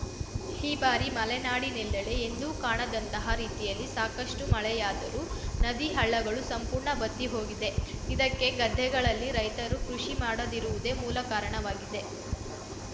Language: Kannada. ಈ ಬಾರಿ ಮಲೆನಾಡಿನೆಲ್ಲೆಡೆ ಎಂದೂ ಕಾಣದಂತಹ ರೀತಿಯಲ್ಲಿ ಸಾಕಷ್ಟುಮಳೆಯಾದರೂ ನದಿ ಹಳ್ಳಗಳು ಸಂಪೂರ್ಣ ಬತ್ತಿಹೋಗಿದೆ ಇದಕ್ಕೆ ಗದ್ದೆಗಳಲ್ಲಿ ರೈತರು ಕೃಷಿ ಮಾಡದಿರುವುದೇ ಮೂಲ ಕಾರಣವಾಗಿದೆ